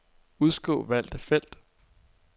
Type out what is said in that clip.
Udskriv valgte felt.